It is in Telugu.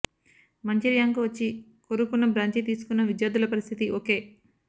మంచి ర్యాంకు వచ్చి కోరుకున్న బ్రాంచీ తీసుకున్న విద్యార్థుల పరిస్థితి ఓకే